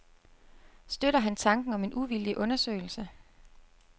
Støtter han tanken om en uvildig undersøgelse?